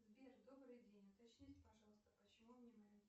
сбер добрый день уточните пожалуйста почему